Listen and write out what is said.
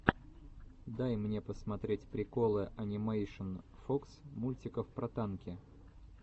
дай мне посмотреть приколы энимэйшн фокс мультиков про танки